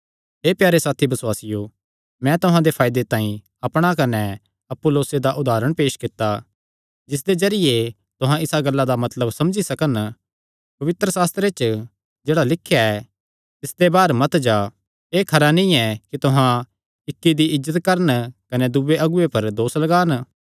हे प्यारे साथी बसुआसियो मैं तुहां दे फायदे तांई अपणा कने अपुल्लोसे दा उदारण पेस कित्ता जिसदे जरिये तुहां इसा गल्ला दा मतलब समझी सकन पवित्रशास्त्रे च जेह्ड़ा लिख्या ऐ तिसते बाहर मत जा एह़ खरा नीं ऐ तुहां इक्की दी इज्जत करन कने दूये अगुऐ पर दोस लगान